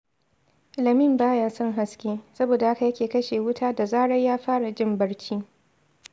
Lamin ba ya son haske, saboda haka yake kashe wuta da zarar ya fara jin barci